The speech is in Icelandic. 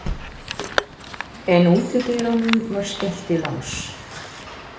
En útidyrunum var skellt í lás.